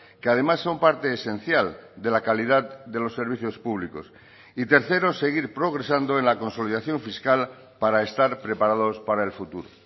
que además son parte esencial de la calidad de los servicios públicos y tercero seguir progresando en la consolidación fiscal para estar preparados para el futuro